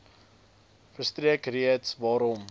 verstrek redes waarom